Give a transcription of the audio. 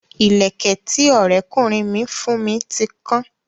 Ìlẹ̀kẹ̀ tí Ọrẹ kunrin mi fún mi ti kan